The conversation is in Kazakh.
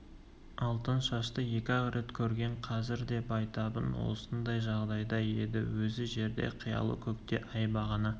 алтыншашты екі-ақ рет көрген қазір де байтабын осындай жағдайда еді өзі жерде қиялы көкте ай бағана